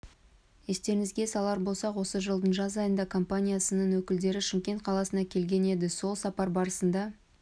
естеріңізге салар болсақ осы жылдың жаз айында компаниясының өкілдері шымкент қаласына келген еді сол сапар барысында